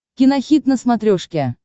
кинохит на смотрешке